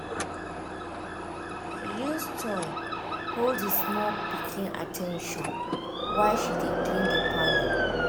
he use toy hold the small pikin at ten tion while she dey clean the parlour um